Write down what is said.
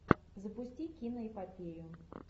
запусти киноэпопею